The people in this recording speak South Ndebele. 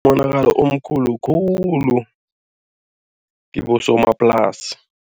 Umonakalo omkhulu khulu kibosomaplasi.